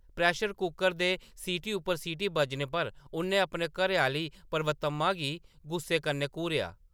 Pressure cooker दे सीटी उप्पर सीटी बजने पर उʼन्नै अपनी घरैआह्‌ली पर्वतम्मा गी गुस्से कन्नै घूरेआ ।